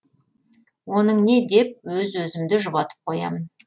оның не деп өз өзімді жұбатып қоямын